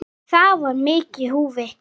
Það var mikið í húfi.